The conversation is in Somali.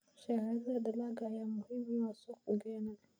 Shahaadada dalagga ayaa muhiim u ah suuqgeyn.